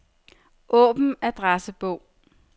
Åbn adressebog.